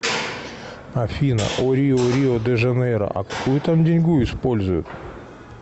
афина о рио рио де жанейро а какую там деньгу используют